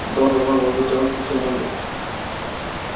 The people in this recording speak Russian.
донован возбуждённо вскочил ноги